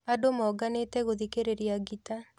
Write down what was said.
Andũ monganĩte gũthikĩrĩria ngita